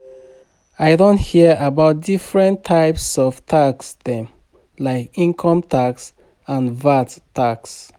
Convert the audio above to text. I don hear about different types of tax dem, like income tax and VAT tax.